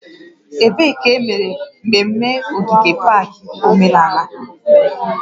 Ebee ka emere mmemme ogige pak omenala?